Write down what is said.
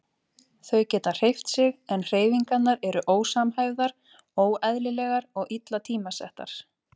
Þau geta hreyft sig en hreyfingarnar eru ósamhæfðar, óeðlilegar og illa tímasettar.